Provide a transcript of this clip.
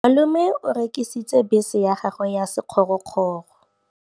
Malome o rekisitse bese ya gagwe ya sekgorokgoro.